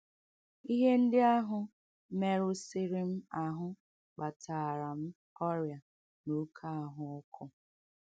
Ihe ndị ahụ merụsịrị m ahụ́ kpataara m ọrịa na oké ahụ́ ọkụ.